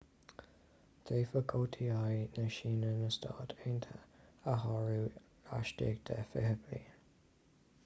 d'fhéadfadh oti na síne na stáit aontaithe a shárú laistigh de fiche bliain